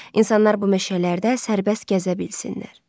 İnsanlar bu meşələrdə sərbəst gəzə bilsinlər.